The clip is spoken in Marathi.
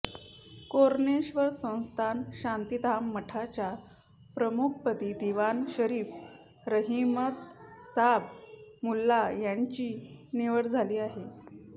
कोरणेश्वर संस्थान शांतीधाम मठाच्या प्रमुखपदी दिवाण शरीफ रहिमतसाब मुल्ला यांची निवड झाली आहे